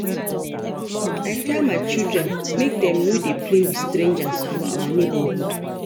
I tell my children make dem no dey play with strangers for our neighborhood